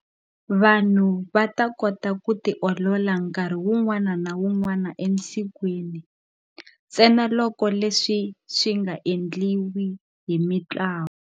Vanhu va ta kota ku tiolola nkarhi wun'wana na wun'wana esikwini, ntsenaloko leswi swi nga endliwi hi mitlawa.